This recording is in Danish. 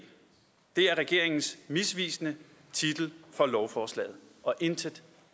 det er regeringens misvisende titel for lovforslaget og intet